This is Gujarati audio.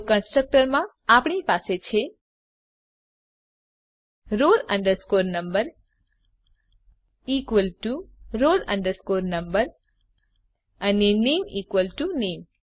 તો કન્સ્ટ્રકટર માં આપણી પાસે છે roll number equal to roll number અને નામે ઇકવલ ટુ નામે